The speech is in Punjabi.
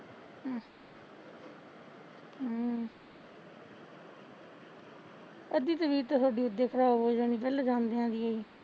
ਅੱਧੀ ਤਬੀਤ ਤਾਂ ਥੋਡੀ ਉਦੇ ਖਰਾਬ ਹੋ ਜਾਣੀ ਪੈਹਲਾ ਜਾਂਦਿਆ ਡਿ ਓਹੀ